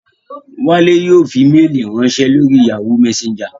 Wálé yóò fi méèlì ránsẹ́ lórí Yahoo messenger